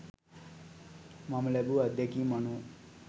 මම ලැබූ අත්දැකීම් අනුව